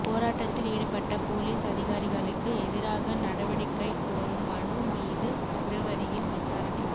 போராட்டத்தில் ஈடுபட்ட போலீஸ் அதிகாரிகளுக்கு எதிராகநடவடிக்கை கோரும் மனு மீது பிப்ரவரியில் விசாரணை